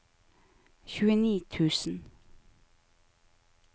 tjueni tusen